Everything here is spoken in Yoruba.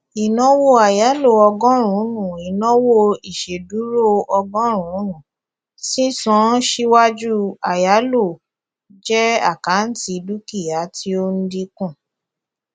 ìnáwó àyálò ọgọrùnún ìnáwó ìṣèdúró ọgọrùnùn sísan síwájú àyáló jẹ àkáǹtì dúkìá tí ó ń dínkù